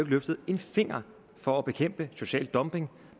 løftet en finger for at bekæmpe social dumping